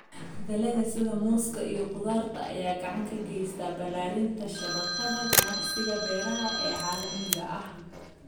Dalagga sida muuska iyo khudaarta ayaa gacan ka geysta ballaarinta shabakadda ganacsiga beeraha ee caalamiga ah.